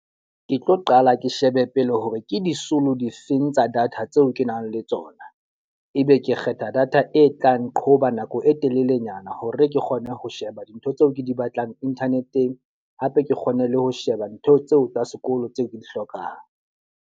Ke tlo qala ke shebe pele hore ke disolo difeng tsa data tseo ke nang le tsona. E be ke kgetha data e tla nqhoba nako e telelenyana hore ke kgone ho sheba dintho tseo ke di batlang internet-eng. Hape ke kgone le ho sheba ntho tseo tsa sekolo tseo ke di hlokang.